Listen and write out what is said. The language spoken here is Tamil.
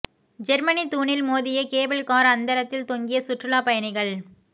ஜெர்மனி தூணில் மோதிய கேபிள் கார் அந்தரத்தில் தொங்கிய சுற்றுலா பயணிகள்